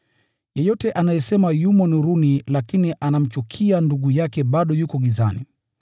Yeyote anayesema yumo nuruni lakini anamchukia ndugu yake bado yuko gizani.